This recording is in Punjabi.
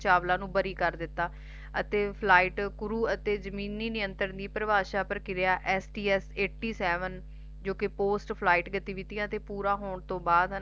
ਕਲਪਨਾ ਚਾਵਲਾ ਨੂੰ ਵਾਲੀ ਕਾਰ ਦਿੱਤਾ ਅਤੇ Flight ਕੁਰੁ ਅਤੇ ਜਮੀਨੀ ਨਿਰੰਤਨ ਦੀ ਪਰਿਭਾਸ਼ਾ ਪ੍ਰਕਿਰਿਆ sts Eighty Seven ਜੌ ਕਿ Post Flight ਗਤੀਵਿਧੀਆ ਦੇ ਪੂਰੇ ਹੋਣ ਤੋਂ ਬਾਅਦ ਹੈਨਾ